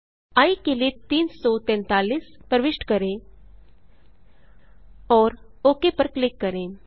आई के लिए 343 प्रविष्ट करें और ओक पर क्लिक करें